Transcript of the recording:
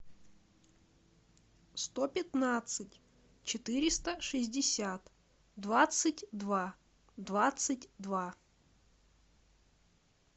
сто пятнадцать четыреста шестьдесят двадцать два двадцать два